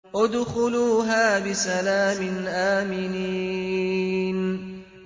ادْخُلُوهَا بِسَلَامٍ آمِنِينَ